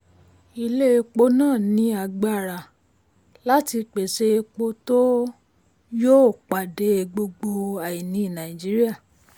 ilé epo náà ní agbára um láti pèsè epo tó um yóò pàdé gbogbo àìní nàìjíríà.